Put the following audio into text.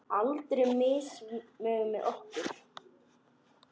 Aldur fer misvel með okkur.